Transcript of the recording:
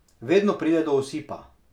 Vedno pride do osipa.